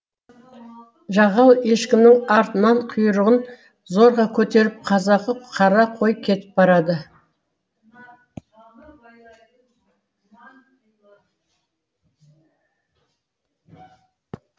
жағал ешкінің артынан құйрығын зорға көтеріп қазақы қара қой кетіп барады